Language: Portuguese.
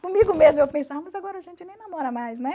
Comigo mesma eu pensava, mas agora a gente nem namora mais, né?